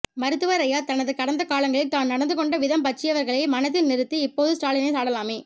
மருத்துவர் ஐயா தனது கடந்த காலங்களில் தான் நடந்துகொண்ட விதம் பற்றியவைகளை மனத்தில் நிறுத்தி இப்போது ஸ்டாலினை சாடலாமே